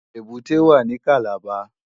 Ébùté wá ni Kàlábá